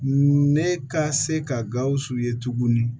Ne ka se ka gawusu ye tuguni